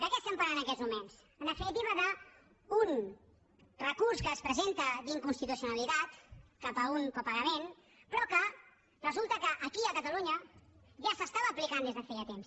de què estem parlant en aquests moments en definitiva d’un recurs que es presenta d’inconstitucionalitat cap a un copagament però que resulta que aquí a catalunya ja s’estava aplicant des de feia temps